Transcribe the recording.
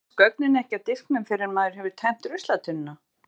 Eyðast gögnin ekki af disknum fyrr en maður hefur tæmt ruslatunnuna?